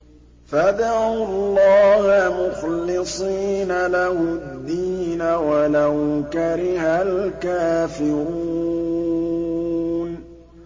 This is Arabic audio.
فَادْعُوا اللَّهَ مُخْلِصِينَ لَهُ الدِّينَ وَلَوْ كَرِهَ الْكَافِرُونَ